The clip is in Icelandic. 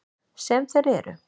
Sem þeir eru.